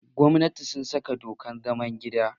Gwamnatin sun saka dokar zaman gida.